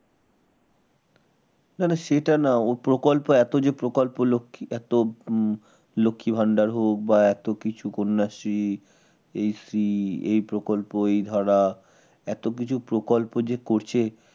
না না সেটা না ও প্রকল্প এত যে প্রকল্প লক্ষী এত লক্ষীভান্ডার হোক বা এত কিছু কন্যাশ্রী এই প্রকল্প এই ধারা এত কিছু প্রকল্প যে করছে